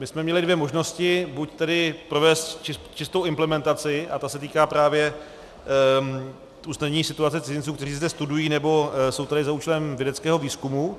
My jsme měli dvě možnosti, buď tedy provést čistou implementaci, a ta se týká právě usnadnění situace cizinců, kteří zde studují nebo jsou tady za účelem vědeckého výzkumu.